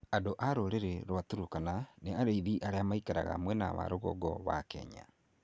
Andũ a rũrĩrĩ rwa Turkana nĩ arĩithi arĩa maikaraga mwena wa rũgongo wa Kenya.